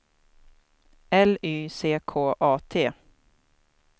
L Y C K A T